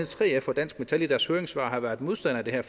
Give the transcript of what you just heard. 3f og dansk metal i deres høringssvar har været modstandere af det her